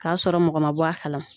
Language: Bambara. K'a sɔrɔ mɔgɔ ma bɔ a kalama